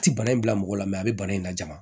A ti bana in bila mɔgɔ la a bɛ bana in lajɔ wa